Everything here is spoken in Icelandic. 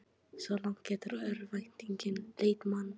Svo langt getur örvæntingin leitt mann.